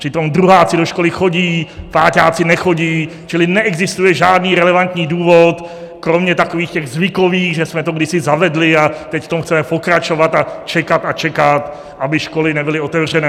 Přitom druháci do školy chodí, páťáci nechodí, čili neexistuje žádný relevantní důvod kromě takových těch zvykových, že jsme to kdysi zavedli, a teď v tom chceme pokračovat a čekat a čekat, aby školy nebyly otevřené.